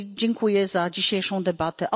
I dziękuję za dzisiejszą debatę.